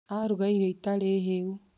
Aruga irio itarĩ heu